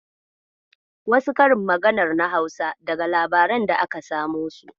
Wasu karin maganar na Hausa daga labaran da aka samo su.